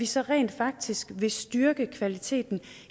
så rent faktisk styrker kvaliteten